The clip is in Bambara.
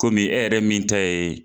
Kɔmi e yɛrɛ min ta ye.